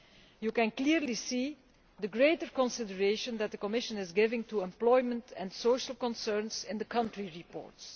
You can clearly see the increased consideration that the Commission is giving to employment and social concerns in the country reports.